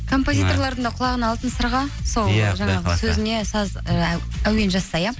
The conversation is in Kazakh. композиторлардың да құлағына алтын сырға сол жаңағы сөзіне ы әуен жазса иә